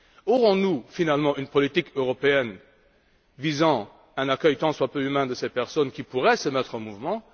Aurons nous finalement une politique européenne visant un accueil tant soit peu humain de ces personnes qui pourraient se mettre en mouvement?